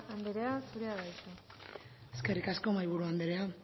anderea zurea da hitza eskerrik asko mahaiburu anderea